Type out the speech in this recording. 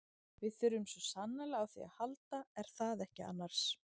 Við þurfum svo sannarlega á því að halda er það ekki annars?